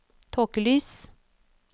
tåkelys